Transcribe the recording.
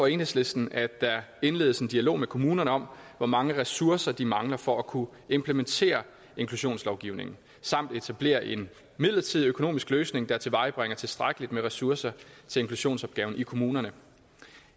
enhedslisten at der indledes en dialog med kommunerne om hvor mange ressourcer de mangler for at kunne implementere inklusionslovgivningen og etableres en midlertidig økonomisk løsning der tilvejebringer tilstrækkeligt med ressourcer til inklusionsopgaven i kommunerne